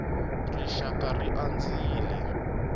rixakara ri andzile